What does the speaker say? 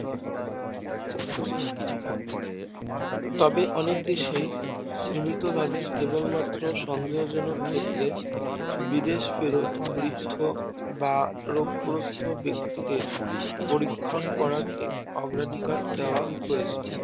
তবে অনেক দেশেই সীমিত ভাবে কেবল মাত্র সন্দেহ জনক ক্ষেত্রে বিদেশ ফেরত বৃদ্ধ বা রোগগ্রস্ত ব্যাক্তিদের পরীক্ষণ করাকে অগ্রাধিকার দেওয়া হয়েছে